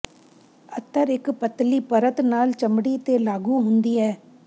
ਅਤਰ ਇੱਕ ਪਤਲੀ ਪਰਤ ਨਾਲ ਚਮੜੀ ਤੇ ਲਾਗੂ ਹੁੰਦੀ ਹੈ